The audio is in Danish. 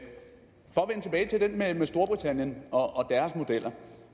med storbritannien og deres modeller